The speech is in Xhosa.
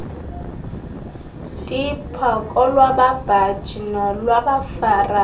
tipha kolwababhaji nolwabafarisi